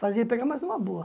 Fazia pegar, mas numa boa.